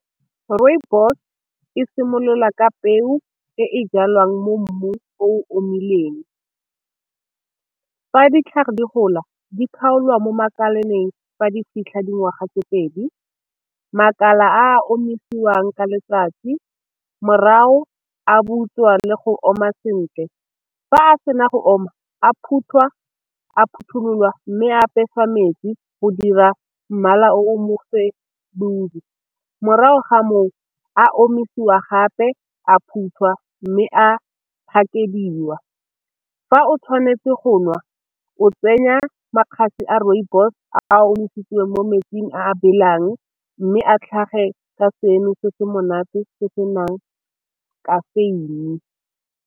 Rooibos e simolola ka peo e e jalwang mo mmung o omileng, fa ditlhare di gola di kgaolwa mo makaleng fa di fitlha dingwaga tse pedi, makala a omisiwang ka letsatsi morago a butswa le go oma sentle. Fa a sena go oma a phuthwa a phothulola mme apeswa metsi go dira mmala o morago ga moo a omisiwa gape a phuthelwa mme a package-iwa. Fa o tshwanetse go nwa o tsenya a rooibos a a omisitsweng mo metsing a belang, mme a tlhage ka seno se se monate se senang caffaine.